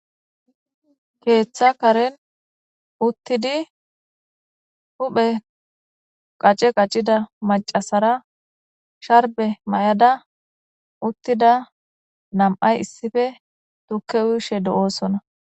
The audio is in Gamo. Keththa karren uttidi huphphe qacce qaccida macasara sharbbe mayada uttida nam'ay issipe tuuke uyyishe de'ossona.